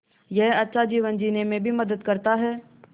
यह अच्छा जीवन जीने में भी मदद करता है